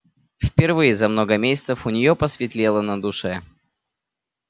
впервые за много месяцев у неё посветлело на душе